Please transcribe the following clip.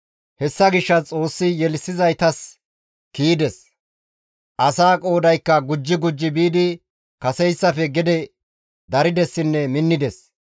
Hessa gishshas Xoossi yelissizaytas kiyides. Asaa qoodaykka gujetti gujetti biidi kaseyssafe gede daridesinne minnides.